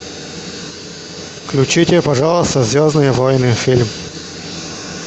включите пожалуйста звездные войны фильм